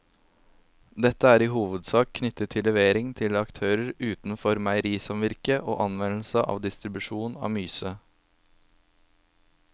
Dette er i hovedsak knyttet til levering til aktører utenfor meierisamvirket og anvendelse og distribusjon av myse.